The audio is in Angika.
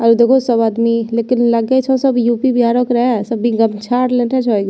आर देखो सब आदमी लेकिन लगे छो सब यू.पी. बिहारो के रहे सबी गमछा लेटे जोइ --